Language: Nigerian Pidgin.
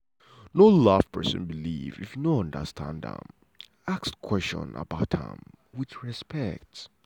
no laff pesin believe if you no understand am ask am question about am with respect.